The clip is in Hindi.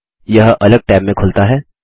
यह अलग टैब में खुलता है